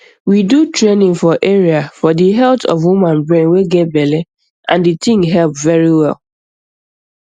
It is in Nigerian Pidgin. we do training for area for di health of woman brain way get belle and di tin help very well